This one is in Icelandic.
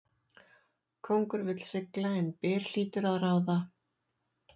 Kóngur vill sigla en byr hlýtur að ráða.